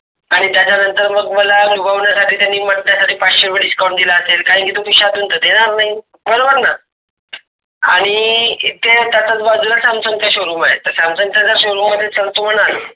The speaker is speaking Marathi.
आणि त्याचा नंतर मग मला अनुभवण्यासाठी त्यांनी साठी पाचशे रुपये Discount दिला असेल कारण की तो खिशातून तर देणार नही बरोबर ना. आणि इथे त्याचाच बाजूला Samsung चा Showroom आहे त Samsung जर Showroom मध्ये चालतो म्हणाल.